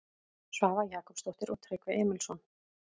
Svava Jakobsdóttir og Tryggvi Emilsson.